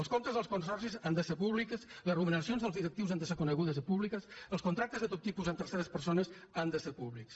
els comptes dels consorcis han de ser públics les remuneracions dels directius han de ser conegudes i públiques els contractes de tot tipus amb terceres persones han de ser públics